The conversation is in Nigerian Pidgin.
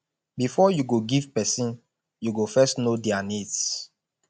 before you go give person you go first know their needs